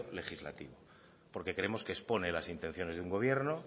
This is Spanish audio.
legislativo porque creemos que expone las intenciones de un gobierno